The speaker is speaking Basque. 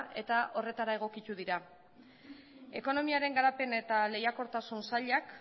eta horretara egokitu dira ekonomiaren garapen eta lehiakortasun sailak